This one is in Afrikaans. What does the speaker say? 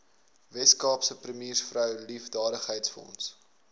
weskaapse premiersvrou liefdadigheidsfonds